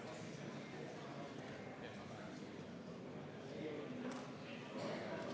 Aitäh!